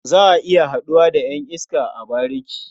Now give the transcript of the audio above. Za a iya haɗuwa da ƴan iska a bariki.